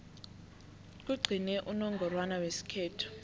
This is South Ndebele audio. kugcine unongorwana wesikhethu